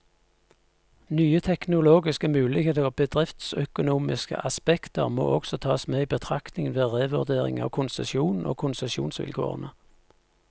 Nye teknologiske muligheter og bedriftsøkonomiske aspekter må også tas med i betraktningen, ved revurdering av konsesjonen og konsesjonsvilkårene.